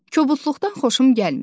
Kobudluqdan xoşum gəlmir.